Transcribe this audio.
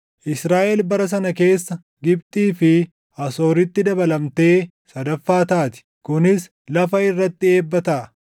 Israaʼel bara sana keessa Gibxii fi Asooritti dabalamtee sadaffaa taati; kunis lafa irratti eebba taʼa.